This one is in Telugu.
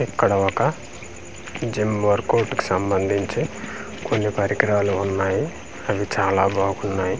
ఇక్కడ ఒక జిమ్ వర్క్ అవుట్ కు సంబంధించి కొన్ని పరికరాలు వున్నాయి అవి చాలా బాగున్నాయి.